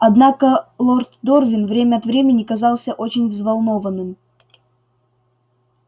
однако лорд дорвин время от времени казался очень взволнованным